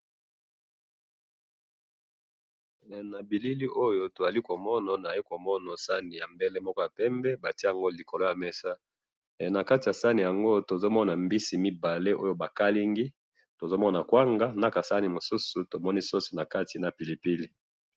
na bilili oyo awa tozali komona toye komona sahani ya mbele moko ya pembe batiye yango likolo ya mesa he nakati ya sahani yango tozomon a mbisi mibale na kasahi ya sauce pembeni tomoni batiye na kati na pilipili